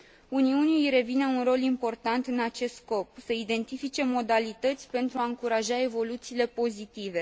Uniunii îi revine un rol important în acest scop să identifice modalități pentru a încuraja evoluțiile pozitive.